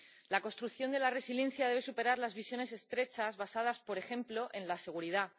La construcción de la resiliencia debe superar las visiones estrechas basadas, por ejemplo, en la seguridad.